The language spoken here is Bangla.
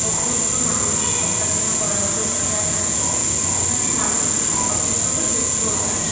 অসুস্থ মানুষদের দেখাশোনা করার জন্য এরা থাকে এখানে মানুষ অসুস্থ হলে সুস্থ হতে আসে।